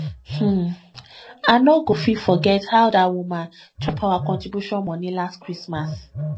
um i no go fit forget how dat woman chop our contribution moni last christmas